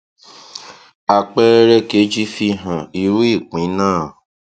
àpẹẹrẹ kejì fi hàn irú ìpín náà